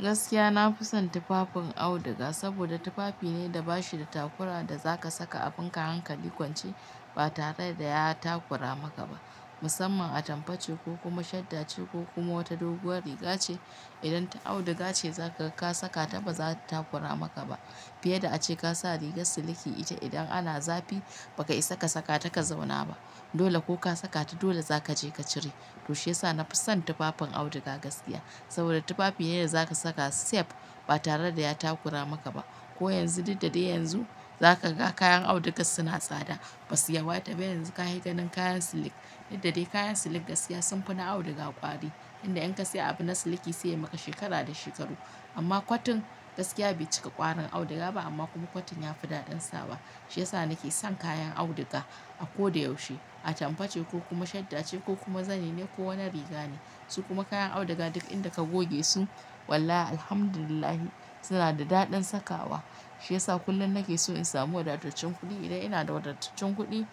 Gaskiya na fi son tufafin auduga, saboda tufafi ne da ba shi da takura da za ka saka abin ka hankali kwance ba tare da ya takura maka ba, musamman a tambace ko kuma shadda ce ko kuma wata doguwar riga ce. Idan ta auduga ce za ka saka ta, ba za ta takura maka ba fiye da a ce ka sa rigar siliki ita. Idan ana zafi, ba ka isa ka saka ta ka zauna ba, dole ko ka saka ta dole za ka je ka cire. To shi ya sa na fi son tufafin auduga gaskiya, saboda tufafi ne da za ka saka safe ba tare da ya takura maka ba. Ko yanzu, daddare yanzu za ka ga kayan auduga suna tsada, ba su yawaita ba. Yanzu ka yi ganin kayan siliki daddare, kayan siliki gaskiya sun fi na auduga ƙwari, inda in ka siya abin na siliki sai ya maka shekara da shekaru. Amma kotun gaskiya bai cika kwarin auduga ba amma kuma kotun ya fi daɗin sawa. Shi ya sa nake son kayan auduga a ko da yaushe, a tambace ko mashaddace ko kuma zane ne ko wani riga ne. Su kuma kayan auduga duk inda ka goge su, wallahi alhamdulillah suna da daɗin sakawa. Shi ya sa kullum nake so in samu wadattacen kuɗi. Idan ina da wadattacen kuɗi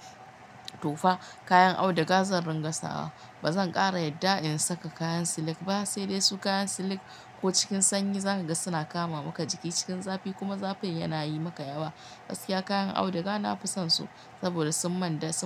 to fa kayan auduga zan rika sawa. Ba zan ƙara yadda in saka kayan siliki ba, sai dai su kayan siliki ko cikin sanyi za ka ga suna kama maka jiki. Cikin zafi kuma zafin yana yi maka yawa. Gaskiya kayan auduga na fi son su saboda sun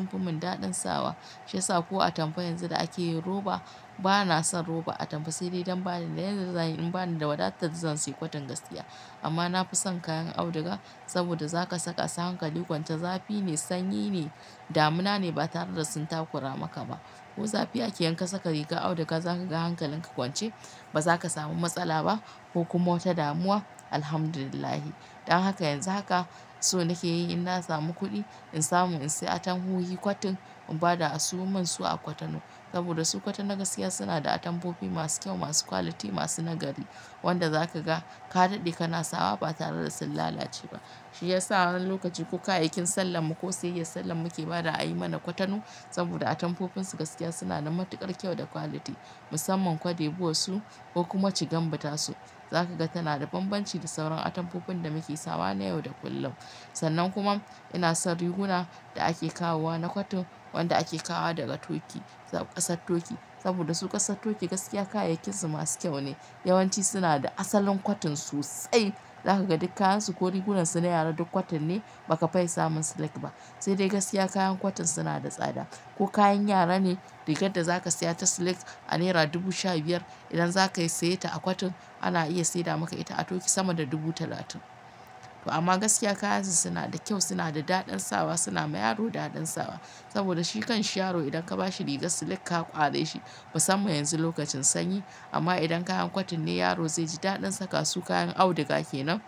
fi mini daɗin sawa. Shi ya sa ko atamfa yanzu da ake yin roba, ba na son roba atamfa sai dai don ba ni da yadda zan yi. In ba ni da wadatar zan sayi kotun gaskiya. Amma na fi son kayan auduga saboda za ka saka sa hankali kwance zafi ne, sanyi ne, damuna ne ba tare da sun takura maka ba. Ko zafi ake yanka saka rigar auduga za ka ga hankalinka kwance. Ba za ka samu matsala ba ko kuma wata damuwa. Alhamdulillah. Dan haka yanzu haka so nake yi, idan na samu kuɗi in samu in sayi atamhu yi kotun, in bada a sayo min su a kotanu. Saboda su kotono na gaskiya suna da atampofi masu kyau, masu quality, masu nagari. Wanda za ka ga ka daɗe kana sawa ba tare da sun lalace ba. Shi ya sa a wani lokaci ko kayayyakin sallan mu ko sayayyar salla muke bada a yi mana kotono. Saboda atampofinsu gaskiya suna da matuƙar kyau da quality. Musamman cote d'lvoire su ko kuma cigambuta su, za ka ga tana da banbanci da sauran atampofin da muke sawa na yau da kullum. Sannan kuma ina son riguna da ake kawowa na kotun, wanda ake kawo daga Turkey, ƙasar Turkey. Saboda su ƙasar Turkey gaskiya kayayyakin su masu kyau ne. Yawan ci suna da asalin kotun sosai. Za ka ga duk kayyar su ko rigunansu na yara duk kotun ne, ba ka fai samun silik ba. Sai dai gaskiya kayan kotun suna da tsada. Ko kayan yara ne, rigar da za ka saya ta siliki a naira dubu sha biyar, idan za ka saye ta a kotun ana iya saida maka ita a Turkey sama da dubu talatin. To amma gaskiya kayansu suna da kyau, suna da daɗin sawa, suna yi wa yaro daɗin sawa. Saboda shi kan sharo idan ka ba shi riga siliki ka ƙware shi musamman yanzu lokacin sanyi. Amma idan kayan kotun ne yaro zai ji daɗin saka su, kayan auduga kenan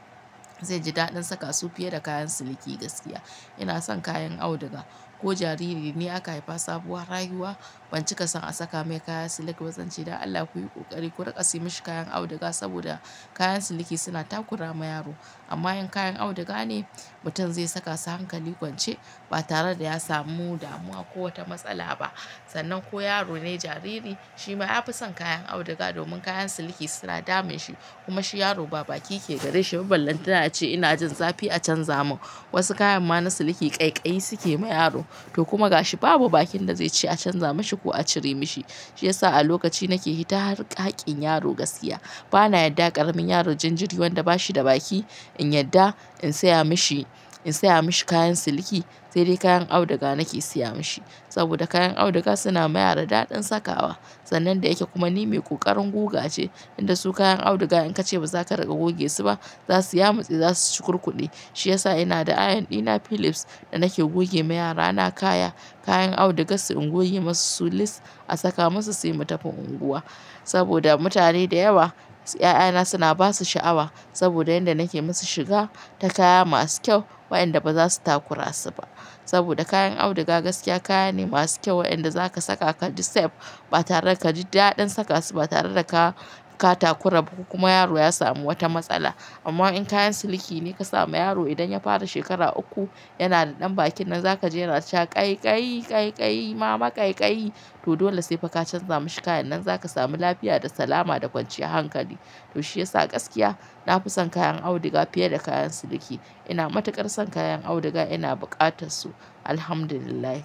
zai ji daɗin saka su fiye da kayan siliki gaskiya. Ina son kayan auduga. Ko jariri ne aka haifa sabuwar rayuwa, ban cika son a saka mai kaya silik ba. Zan ce "Da Allah ku yi ƙoƙari ku rika siye mashi kayan auduga" saboda kayan siliki suna takura ma yaro. Amma in kayan auduga ne, mutum zai saka su hankali kwance ba tare da ya samu damuwa ko wata matsala ba. Sannan ko yaro ne jariri, shi ma ya fi son kayan auduga domin kayan siliki suna damun shi. Kuma shi yaro ba baki yake gare shi. Balante a c ina jin zafi a canza min. Wasu kayan ma na siliki ƙaiƙayi suke ma yaro. To kuma ga shi babu bakin da zai ce a canza mashi ko a cire mashi. Shi ya sa a lokaci nake fita harkakin yaro gaskiya. Ba na yadda ƙaramin yaro jan jiri wanda ba shi da baki in yadda in saya masa, in saya mishi kayan siliki. Sai dai kayan auduga nake siya mashi. Saboda kayan auduga suna yi wa yaro daɗin sakawa. Sannan da yake kuma ni mai ƙoƙarin guga ce, inda su kayan auduga in ka ce ba za ka rage goge su ba, za su yamu tsie za su shukurkuɗi. Shi ya sa ina da iron ɗina Philips da nake goge ma yara. Na kaya kayan auduga su unguwanni masu su list a saka musu, su yi matafin unguwa. Saboda mutane da yawa, 'ya'yana suna ba su sha'awa saboda yada nake musu shiga ta kaya masu kyau, wa'inda ba za su takura su ba. Saboda kayan auduga gaskiya kaya ne masu kyau wa'inda za ka saka ka ji safe ba tare da ka ji daɗin saka su ba tare da ka takura ba ko kuma yaro ya samu wata matsala. Amma in kayan siliki ne ka sa ma yaro idan ya fara shekara uku, yana da ɗan bakin nan za ka jera ce wa ƙaiƙayi, ƙaiƙayi mama ƙaiƙayi. To dole sai fa ka canza mashi kayan nan za ka sami lafiya da salama da kwanciyar hankali. To shiyasa gaskiya na fi son kayan auduga fiye da kayan siliki. Ina matuƙar son kayan auduga, ina buƙatar su. Alhamdulillah.